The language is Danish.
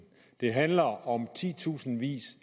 det handler om titusindvis